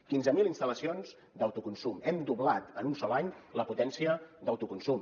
quinze mil instal·lacions d’autoconsum hem doblat en un sol any la potència d’autoconsum